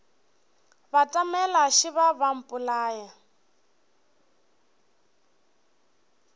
batamela šeba ba a mpolaya